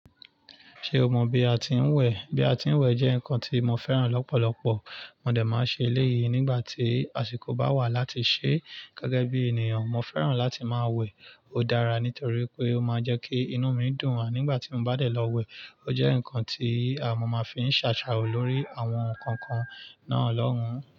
Ṣé o mọ bí a ti ń wẹ̀? Bí a ti ń wẹ̀ jẹ́ nǹkan tí mo fẹ́ràn lọ́pọ̀lọpọ̀. Mọ dẹ̀ máa ṣe eléyìí nígbà tí àsìkò bá wà láti ṣẹ́. Gẹ́gẹ́ bí ènìyàn, mo fẹ́ràn láti máa wẹ̀. Ó dára nítorí pé ó máa ń jẹ́ kí inú mi dùn. Ànígbà tí mo bá dẹ́ lọ wẹ̀, ó jẹ́ nǹkan tí àmo máa fi ń ṣàṣà lórí àwọn kankan náà lọ́hùn.